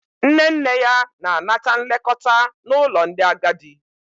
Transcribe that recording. Nne nne ya na-anata nlekọta n'ụlọ ndị agadi.